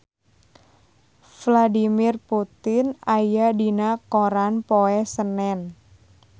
Vladimir Putin aya dina koran poe Senen